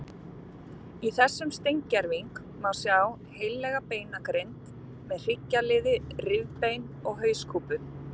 Í þessum steingerving má sjá heillega beinagrind með hryggjarliði, rifbein og hauskúpu.